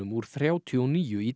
úr þrjátíu og níu í